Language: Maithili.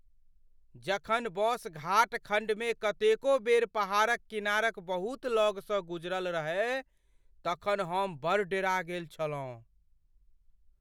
जखन बस घाट खण्डमे कतेको बेर पहाड़क किनारक बहुत लगसँ गुजरल रहय तखन हम बड़ डेरा गेल छलहुँ।